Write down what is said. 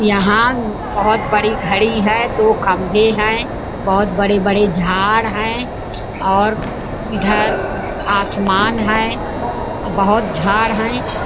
यहाँ बहुत बड़ी घड़ी है दो खम्बे है बहुत बड़े बड़े झाड है और इधर आसमान है बहुत झाड है।